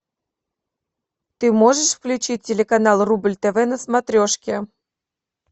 ты можешь включить телеканал рубль тв на смотрешке